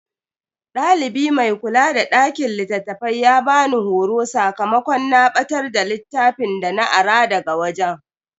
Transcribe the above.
Dalibi mai kula da dakin littafai ya bani horo sakamakon na batar da littafin dana ara daga wajen.